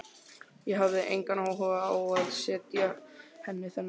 Ég hafði engan áhuga á að segja henni þennan.